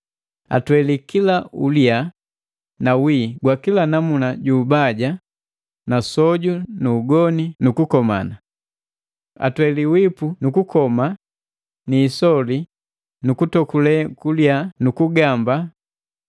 Atwelii kila uliya na wii gwakila namuna juubaja na soju na ugoni na kukomana. Atwelii wipu na kukoma na isoli na kutokule kuliya nu kugamba,